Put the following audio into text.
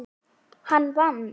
Hann vann.